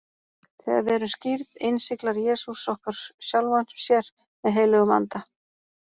Þegar við erum skírð, innsiglar Jesús okkur sjálfum sér með heilögum anda.